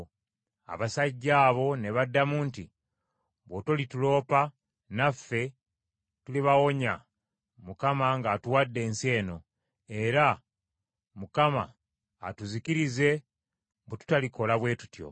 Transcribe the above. Abasajja abo ne baddamu nti, “Bw’otolituloopa, naffe tulibawonya Mukama ng’atuwadde ensi eno; era Mukama atuzikirize bwe tutalikola bwe tutyo.”